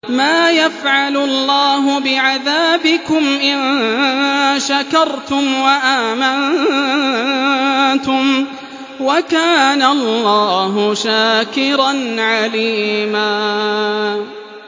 مَّا يَفْعَلُ اللَّهُ بِعَذَابِكُمْ إِن شَكَرْتُمْ وَآمَنتُمْ ۚ وَكَانَ اللَّهُ شَاكِرًا عَلِيمًا